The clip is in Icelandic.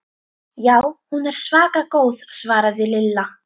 Já, hún er svaka góð svaraði Lilla.